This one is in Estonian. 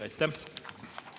Aitäh!